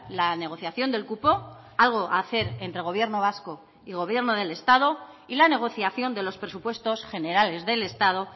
la negociación del cupo algo a hacer entre gobierno vasco y gobierno del estado y la negociación de los presupuestos generales del estado